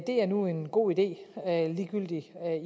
er nu en god idé ligegyldigt